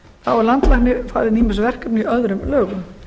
þá eru landlækni falin ýmis verkefni í öðrum lögum